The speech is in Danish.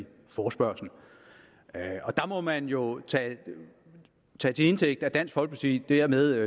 forespørgslen og der må man jo tage til indtægt at dansk folkeparti dermed